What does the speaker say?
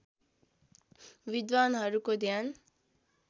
विद्वानहरूको ध्यान